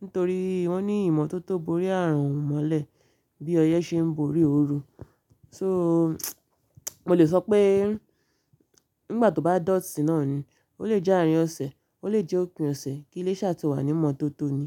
Nítorí wọ́n ní ìmatótó borí ààrùn mọ́lẹ̀ bí ọyẹ́ ṣe ń borí òru. So, mo lè sọ pé nígbà tó bá dọ̀tí náà ni, ó lè jẹ́ àárín ọ̀sẹ̀, ó lè jẹ́ òpin ọ̀sẹ̀. Kí ilé iṣẹ́ tó wà ní ìmatótó ni.